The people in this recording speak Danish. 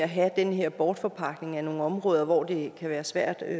at have den her bortforpagtning af nogle områder hvor det kan være svært at